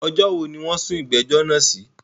Ọjọ́ wo ni wọ́n sún ìgbẹ́jọ́ náà sí?